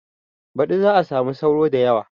Baɗi za a samu sauro da yawa